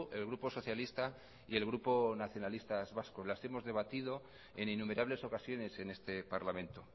el grupo socialista y el grupo nacionalista vasco las hemos debatido en innumerables ocasiones en este parlamento